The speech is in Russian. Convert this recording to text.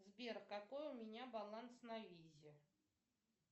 сбер какой у меня баланс на визе